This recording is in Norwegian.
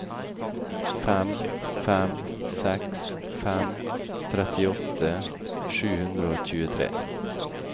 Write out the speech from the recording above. fem fem seks fem trettiåtte sju hundre og tjuetre